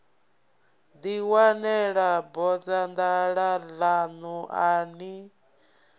ḓiwanela bodzanḓala ḽaṋu a ni